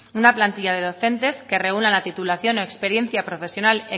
una plantilla de docentes que reúnan la titulación o experiencia profesional